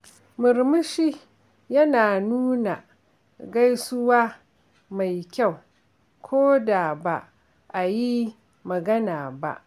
Murmushi yana nuna gaisuwa mai kyau koda ba ayi magana ba.